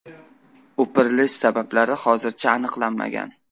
O‘pirilish sabablari hozircha aniqlanmagan.